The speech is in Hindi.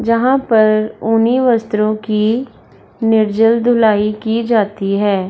जहाँ पर ऊनी वस्त्रो की निर्जल धुलाई की जाती है।